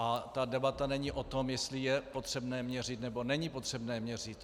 A ta debata není o tom, jestli je potřebné měřit, nebo není potřebné měřit.